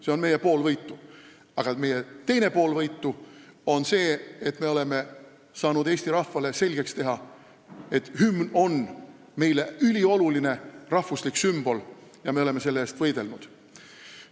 See on meie pool võitu, aga teine pool võitu on see, et me oleme saanud eesti rahvale selgeks teha, et hümn on meile ülioluline rahvuslik sümbol ja me oleme selle eest võidelnud.